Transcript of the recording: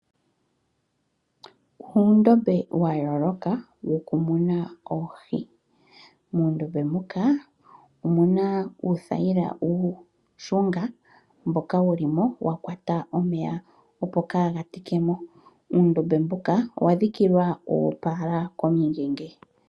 Uundombe wayooloka wokumuna oohi. Muundombe mbuka omuna uuthayila uushunga mboka wulimo wa kwata omeya opo kaa gatikemo. Uundombe mbuka owa dhikilwa uupala komingenge.